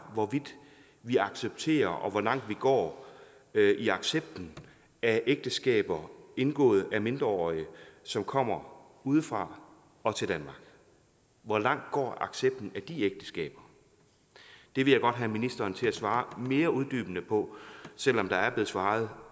hvorvidt vi accepterer og hvor langt vi går i accepten af ægteskaber indgået af mindreårige som kommer udefra og til danmark hvor langt går accepten af de ægteskaber det vil jeg godt have ministeren til at svare mere uddybende på selv om der er blevet svaret